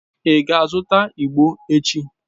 Ị ga-azụta igbo echi?